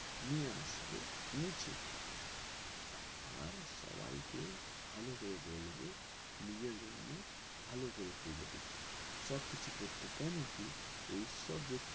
নিয়ে এসব নিচে আর সবাইকে ভালো করে বলবো নিজের জন্য কর্ম ভালো করে করতে কেনো কি এই সব যে